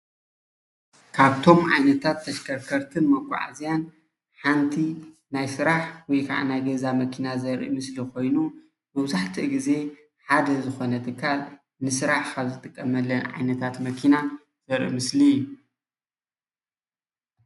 ካብቶም ዓይነታት ተሽከርከርትን መጓዓዝያን ሓንቲ ናይ ስራሕ ወይ ከዓ ናይ ገዛ መኪና ዘርኢ ምስሊ ኾይኑ፣ መብዛሕቲኡ ግዜ ሓደ ዝኾነ ትካል ንስራሕ ካብ ዝጥቀመለን ዓይነታት መኪና ዘርኢ ምስሊ እዩ፡፡